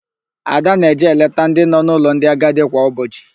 Ada na-eje eleta ndị nọ n'ụlọ ndị agadi kwa ụbọchị.